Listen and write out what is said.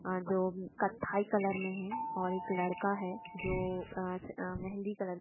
आ जोम कत्थई कलर मे है और एक लड़का है जो अ अ मेहंदी कलर